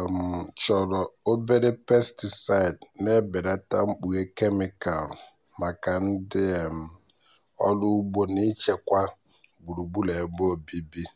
um chọrọ obere pesticide na-ebelata mkpughe kemịkalụ maka ndị um ọrụ ugbo na ichekwa gburugburu ebe obibi. um